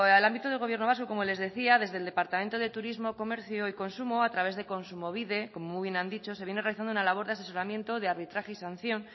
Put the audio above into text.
al ámbito del gobierno vasco como les decía desde el departamento de turismo comercio y consumo a través de kontsumobide como muy bien han dicho se viene realizando una labor de asesoramiento de arbitraje y sanción